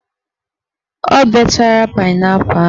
O bechara painaipu ahụ